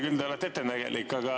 Küll te olete ettenägelik.